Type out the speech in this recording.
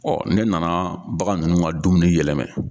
Ɔ ne nana bagan nunnu ka dumuni yɛlɛman